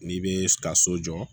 N'i bɛ ka so jɔ